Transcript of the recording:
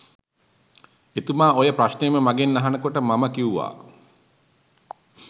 එතුමා ඔය ප්‍රශ්නයම මගෙන් අහන කොට මම කිව්වා